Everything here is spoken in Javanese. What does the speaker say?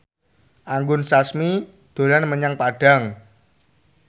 Anggun Sasmi dolan menyang Padang